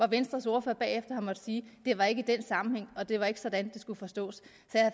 venstres ordfører bagefter har måttet sige det var ikke den sammenhæng og det var ikke sådan det skulle forstås